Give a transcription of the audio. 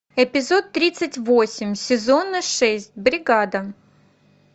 эпизод тридцать восемь сезона шесть бригада